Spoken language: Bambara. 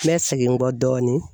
N bɛ segin n kɔ dɔɔnin